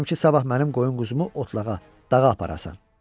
İstəyirəm ki, sabah mənim qoyun-quzumu otlağa, dağa aparasan.